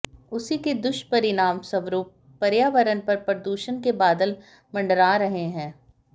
उसी के दुष्परिणामस्वरूप पर्यावरण पर प्रदूषण के बादल मंडरा रहे हैं